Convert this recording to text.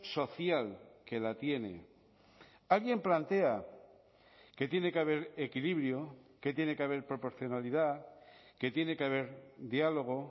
social que la tiene alguien plantea que tiene que haber equilibrio que tiene que haber proporcionalidad que tiene que haber diálogo